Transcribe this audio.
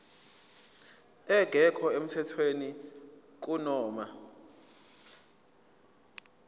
engekho emthethweni kunoma